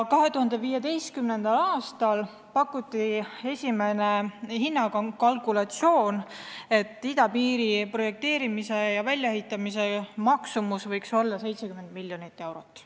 2015. aastal pakuti esimene hinnakalkulatsioon: idapiiri projekteerimise ja väljaehitamise maksumus võiks olla 70 miljonit eurot.